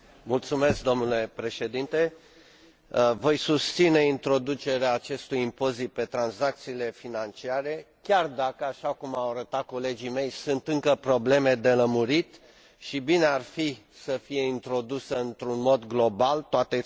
Voi susține introducerea acestui impozit pe tranzacțiile financiare, chiar dacă, așa cum au arătat colegii mei, sunt încă probleme de lămurit și bine ar fi să fie introdus într un mod global, toate statele membre să accepte acest lucru